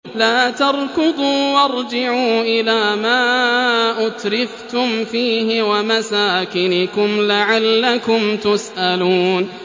لَا تَرْكُضُوا وَارْجِعُوا إِلَىٰ مَا أُتْرِفْتُمْ فِيهِ وَمَسَاكِنِكُمْ لَعَلَّكُمْ تُسْأَلُونَ